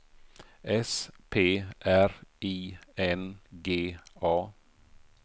S P R I N G A